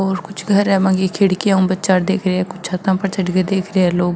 और कुछ घर है बा की खिड़किया पर ऊ बचा देख रा है कुछ छाता पर चढ़ के देख रा है लोग।